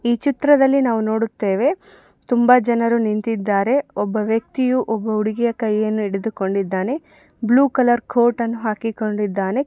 ಈ ಚಿತ್ರದಲ್ಲಿ ನಾವು ನೋಡುತ್ತೇವೆ ತುಂಬಾ ಜನರು ನಿಂತಿದ್ದಾರೆ ಒಬ್ಬ ವೆಕ್ತಿಯು ಒಬ್ಬ ಹುಡುಗಿ ಕೈ ಯನ್ನು ಹಿಡಿದು ಕೊಂಡಿದ್ದಾನೆ ಬ್ಲೂ ಕಲರ್ ಕೋಟ್ ಅನ್ನು ಹಾಕಿ ಕೊಂಡಿದ್ದಾನೆ.